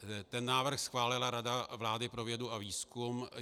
Ten návrh schválila Rada vlády pro vědu a výzkum.